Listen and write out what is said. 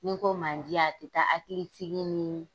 Ni n ko mandiya a tɛ taa hakili sigi ni